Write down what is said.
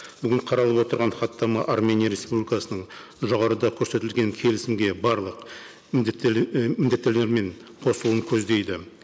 бүгінгі қаралып отырған хаттама армения республикасының жоғарыда көрсетілген келісімге барлық і міндеттерімен қосылуын көздейді